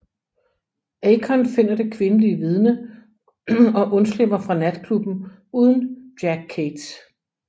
Akon finder det kvindelige vidne og undslipper fra natklubben uden Jack Cates